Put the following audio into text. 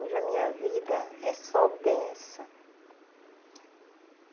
Hoje a minha vida é só benção.